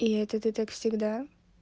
и это ты так всегда